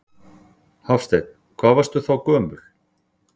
Hafsteinn: Hvað varstu þá gömul?